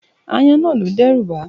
Aáyán náà lo dẹ́rùbaá.